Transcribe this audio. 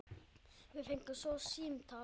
Við fengum svo símtal.